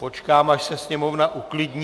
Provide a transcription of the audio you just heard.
Počkám, až se sněmovna uklidní.